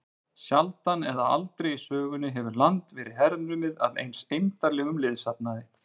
Sjaldan eða aldrei í sögunni hefur land verið hernumið af eins eymdarlegum liðsafnaði.